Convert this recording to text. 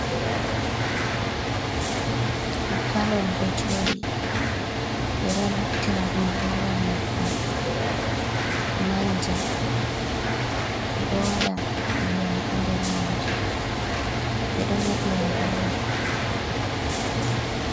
Gallom ɗo joɗi ɓe ɗo naftira ɗum lowa nyebbam, manja, ɓeɗo waɗa ndiyam ha nder majum ɓeɗo yeɗira be mai.